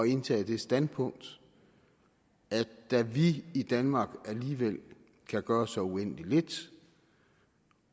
indtage det standpunkt at da vi i danmark alligevel kan gøre så uendelig lidt